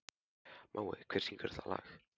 Mói, hver syngur þetta lag?